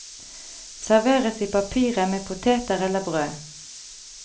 Serveres i papiret med poteter eller brød.